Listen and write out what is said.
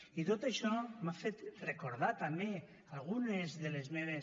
i tot això m’ha fet recordar també algunes de les meves